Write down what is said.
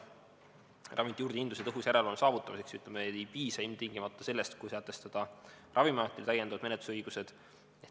Ravimite juurdehindluse tõhusa järelevalve saavutamiseks ei piisa ilmtingimata sellest, kui sätestada Ravimiametile täiendavad menetlusõigused.